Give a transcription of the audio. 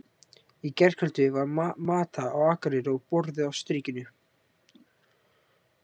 Í gærkvöldi var Mata á Akureyri og borðið á Strikinu.